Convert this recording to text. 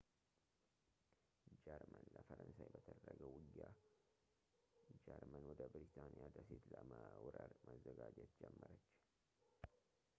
ጀርመን ለፈረንሳይ በተደረገው ውጊያ ጀርመን ወደ ብሪታንያ ደሴት ለመውረር መዘጋጀት ጀመረች